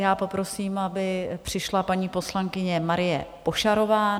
Já poprosím, aby přišla paní poslankyně Marie Pošarová.